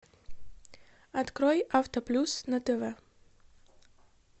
открой авто плюс на тв